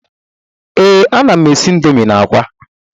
Ee, ana m n'esi Indomi na akwa